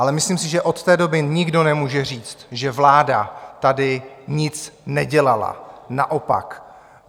Ale myslím si, že od té doby nikdo nemůže říct, že vláda tady nic nedělala, naopak.